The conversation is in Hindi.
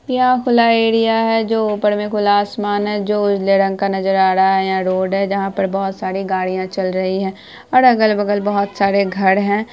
यहाँ खुला एरिया है जो ऊपर मे खुला आसमान है जो उजले रंग का नजर आ रहा है यहां रोड है जहां पर बहुत सारी गाड़ियां चल रही है और अगल-बगल बहुत सारे घर है।